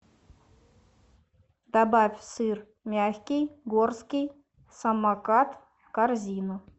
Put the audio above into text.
добавь сыр мягкий горский самокат в корзину